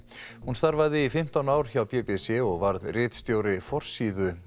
hún starfaði í fimmtán ár hjá b b c og varð ritstjóri forsíðu